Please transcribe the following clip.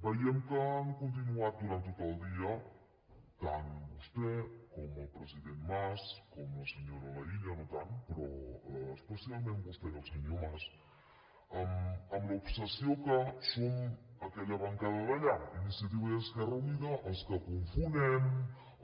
veiem que han continuat durant tot el dia tant vostè com el president mas com la senyora laïlla no tant però especialment vostè i el senyor mas amb l’obsessió que som aquella bancada d’allà iniciativa i esquerra unida els que confonem